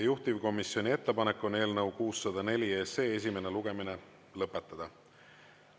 Juhtivkomisjoni ettepanek on eelnõu 604 esimene lugemine lõpetada.